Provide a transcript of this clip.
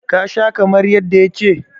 ka Sha kamar yadda ya ce?